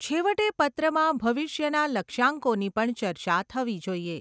છેવટે, પત્રમાં ભવિષ્યના લક્ષ્યાંકોની પણ ચર્ચા થવી જોઈએ.